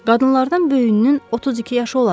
Qadınlardan böyüyünün 32 yaşı olardı.